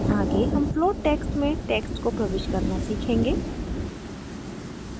आगे हम flowed text से text को प्रविष्ट करना सीखेंगे